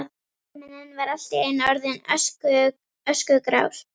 Himinninn var allt í einu orðinn öskugrár.